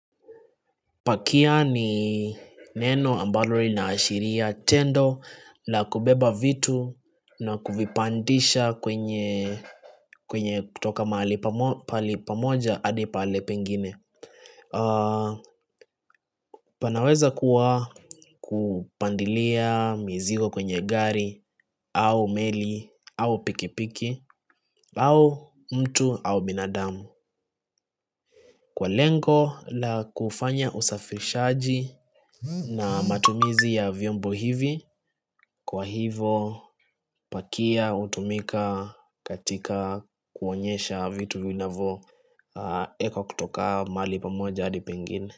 Pakia ni neno ambalo lina ashiria tendo la kubeba vitu na kuvipandisha kwenye kutoka mali pali pamoja adi pahali pengine. Pana weza kuwa kupandilia mizigo kwenye gari au meli au pikipiki au mtu au binadamu. Kwa lengo la kufanya usafirishaji na matumizi ya vyombo hivi kwa hivo pakia hutumika katika kuonyesha vitu vinavo ekwa kutoka mali pamoja adi pengini.